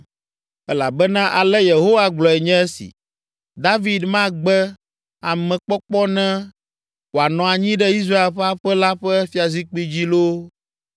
Elabena ale Yehowa gblɔe nye esi: ‘David magbe amekpɔkpɔ ne wòanɔ anyi ɖe Israel ƒe aƒe la ƒe fiazikpui dzi loo,